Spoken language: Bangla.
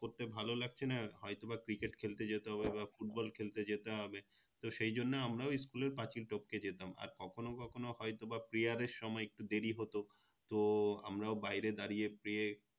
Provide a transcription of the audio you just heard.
করতে ভালো লাগছে না হয়তো বা Cricket খেলতে যেতে হবে বা Football খেলতে যেতে হবে তো সেই জন্য আমরাও School এর পাঁচিল টপকে যেতাম আর কখনো কখনো হয়তো বা Prayer এর সময় একটু দেরি হতো তো আমরাও বাইরে দাঁড়িয়ে Pray